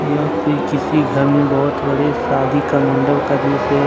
यह कोई किसी घर में बहुत बड़े शादी का मंडप का दृश्य है।